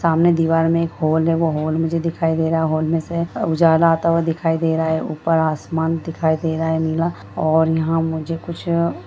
सामने दीवार में एक होल है वो होल मुझे दिखाई दे रहा है होल में से उजाला आता हुआ दिखाई दे रहा है ऊपर आसमान दिखाई दे रहा है नीला और यहाँ मुझे कुछ --